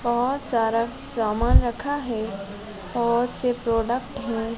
बहोत सारा सामान रखा है बहुत से प्रोडक्ट है।